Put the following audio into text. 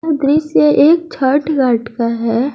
यह दृश्य एक छठ घाट का है।